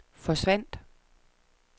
forsvandt